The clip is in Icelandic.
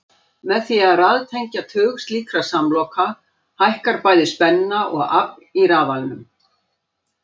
Með því að raðtengja tug slíkra samloka hækkar bæði spenna og afl í rafalanum.